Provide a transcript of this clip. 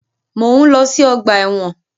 Mọ̀ ń lọ sí ọgbà ẹ̀wọ̀n.